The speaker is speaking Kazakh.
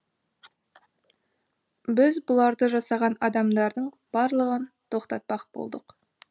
біз бұларды жасаған адамдардың барлығын тоқтатпақ болдық